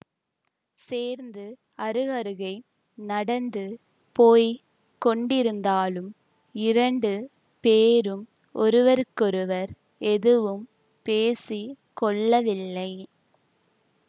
சேர்ந்து அருகருகே நடந்து போய் கொண்டிருந்தாலும் இரண்டு பேரும் ஒருவருக்கொருவர் எதுவும் பேசி கொள்ளவில்லை